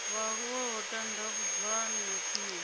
vhaaluwa ho tandavhudzwa na tshumelo